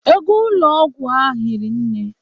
Ego ụlọ ọgwụ ha hiri nne.